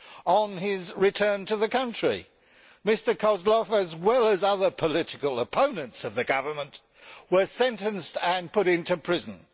on his return to the country. Mr Kozlov, as well as other political opponents of the government, was sentenced and put in prison.